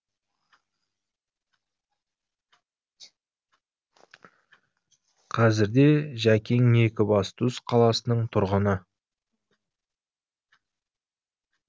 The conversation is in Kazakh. қазірде жәкең екібастұз қаласының тұрғыны